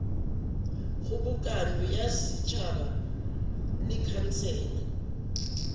kgobokano ya setšhaba le khansele